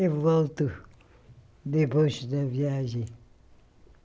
Eu volto depois da viagem.